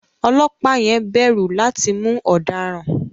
Ọlọ́pàá yẹn bẹ̀rù láti mú ọ̀daràn.